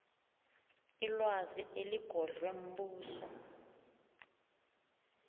ilwazi eligodlwe mbuso